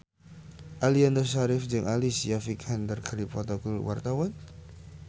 Aliando Syarif jeung Alicia Vikander keur dipoto ku wartawan